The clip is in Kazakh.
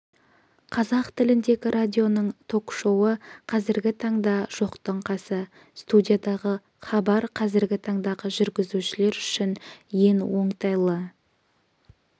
қазақ тіліндегі радионың ток-шоуы қазіргі таңда жоқтың қасы студиядағы хабар қазіргі таңдағы жүргізушілер үшін ең оңтайлы